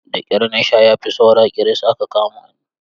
Da ƙyar na sha ya fi saura ƙiris aka kama ni.